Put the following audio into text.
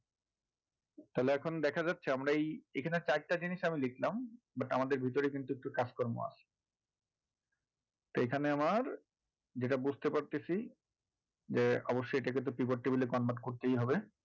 তাহলে এখন দেখা যাচ্ছে আমরা এই এখানে চারটে জিনিস আমি দেখলাম but আমাদের ভিতরে কিন্তু একটু কাজকর্ম আছে এখানে আমার যেটা বুঝতে পারছি যে অবশ্যই এটাকে তো pivot table এ convert করতেই হবে